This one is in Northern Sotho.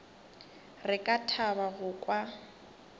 re ka thaba go kwa